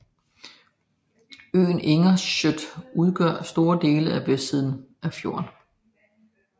Øen Innerstøtt udgør store dele af vestsiden af fjorden